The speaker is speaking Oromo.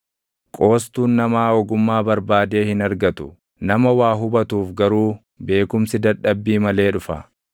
Qoostuun namaa ogummaa barbaadee hin argatu; nama waa hubatuuf garuu beekumsi dadhabbii malee dhufa.